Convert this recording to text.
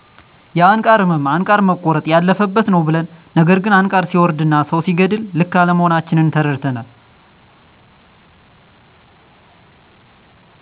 የአንቃር እመም አንቃር መቆረጥ ያለፈበት ነው ብለን ነገር ግን አንቃር ሰወርድና ሰው ሲገድል ልክ አለመሆናችን ተረድተናል